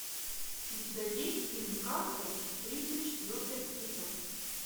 у тебя есть фильм касл тридцать четвертый эпизод